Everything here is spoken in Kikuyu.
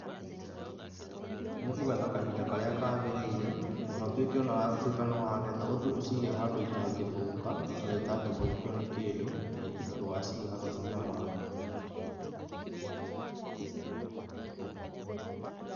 Nikũgetha kahinda karia kagĩirĩire, na ũtuĩke ona watuĩka nĩ wagetha ũthiĩ ũciĩge handũ itangĩthũka kana itangĩthũkio nĩ kĩndũ na ndũgaciige hakuhĩ na maĩ.